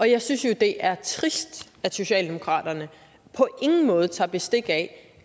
jeg synes jo det er trist at socialdemokraterne på ingen måde tager bestik af